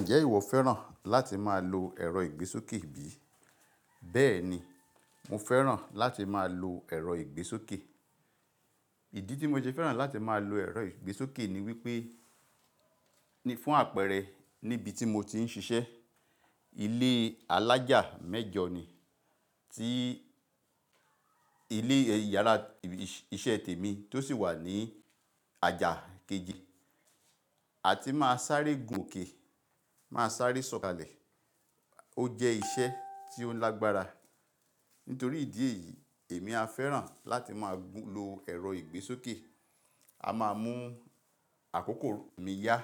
Ǹjẹ́ ìwọ fẹ́ràn láti máa lo ẹ̀rọ ìgbésókè bí? Bẹ́ẹ̀ni, mo fẹ́ràn láti máa lo ẹ̀rọ ìgbésókè. Ìdí tí mo ṣe fẹ́ràn láti máa lo ẹ̀rọ ìgbésókè ni wípé, ní fún àpẹẹrẹ níbi tí mo ti ń ṣiṣẹ́, ilé alájà mẹ́jọ ni tí ilé ìyàrá iṣẹ́ tèmi tó sì wà ní àjà kejì. A ti máa sáré gun òkè, máa sáré sọ̀kalẹ̀. Ó jẹ́ iṣẹ́ tí ó lágbára. Nítorí ìdí èyí, èmi a fẹ́ràn láti máa gun lo ẹ̀rọ ìgbésókè. A máa mú àkókò mi yá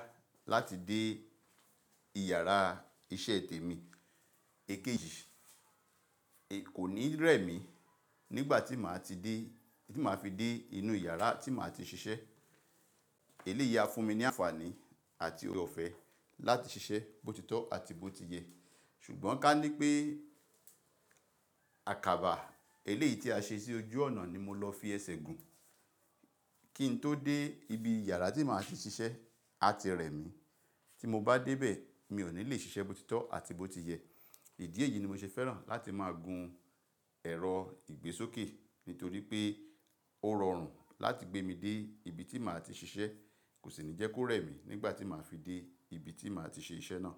láti dé ìyàrá iṣẹ́ tèmi èkejì. Kò ní rẹ̀ mí nígbà tí màá ti dé, tí màá fi dé inú ìyàrá tí màá ti ṣiṣẹ́. Èlé yìí á fún mi ní àǹfààní àti òre ọ̀fẹ́ láti ṣiṣẹ́ bòtítọ́ àti bó ti yẹ. Ṣùgbọ́n ká ní pé àkàbà eléyìí tí a ṣe sí ojú ọ̀nà ni mo lọ fi ẹsẹ̀ gùn. Kí n tó dé ibi ìyàrá tí màá ti ṣiṣẹ́, a ti rẹ̀ mí. Tí mo bá dé bẹ́ẹ̀, mi ò ní le ṣiṣẹ́ bòtítọ́ àti bó ti yẹ. Ìdí èyí ni mo ṣe fẹ́ràn láti máa gun ẹ̀rọ ìgbésókè. Nítorí pé ó rọrùn láti gbé mi dé ibi tí màá ti ṣiṣẹ́, kò sì ní jẹ́ kó rẹ̀ mí nígbà tí màá fi dé ibi tí màá ti ṣe iṣẹ́ náà.